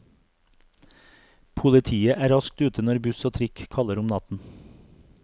Politiet er raskt ute når buss og trikk kaller om natten.